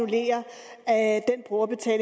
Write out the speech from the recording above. er at